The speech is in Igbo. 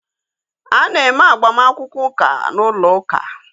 A na-eme agbamakwụkwọ ụka n'ụlọ uka